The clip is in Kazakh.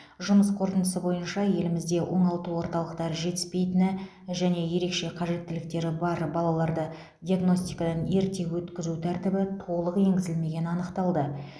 жұмыс қорытындысы бойынша елімізде оңалту орталықтары жетіспейтіні және ерекше қажеттіліктері бар балаларды диагностикадан ерте өткізу тәртібі толық енгізілмегені анықталды